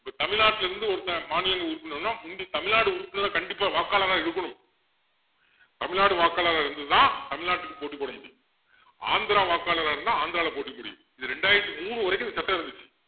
இப்போ தமிழ்நாட்டுல இருந்து ஒருத்தன் மாநிலங்கள் உறுப்பினர்னா முந்தி தமிழ்நாடு உறுப்பினரா கண்டிப்பா வாக்காளரா இருக்கணும் தமிழ்நாடு வாக்காளரா இருந்து தான் தமிழநாட்டுக்கு போட்டி போட முடியும் ஆந்திரா வாக்காளரா இருந்தா ஆந்திரால போட்டி போட முடியும் இது ரெண்டாயிரத்தி மூணு வரைக்கும் இந்த சட்டம் இருந்துச்சு